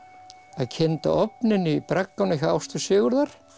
að kynda ofninn í bragganum hjá Ástu Sigurðar